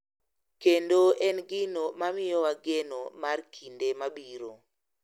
Kendo en gino ma miyowa geno mar kinde mabiro.